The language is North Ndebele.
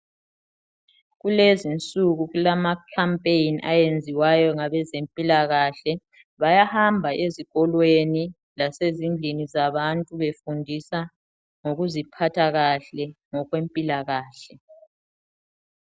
Kulezinsuku kulama khampeyini ayenziwayo ngabezempilakahle bayahamba ezikolweni lasezindlini zabantu befundisa ngokuziphatha kahle ngokwempilakahle.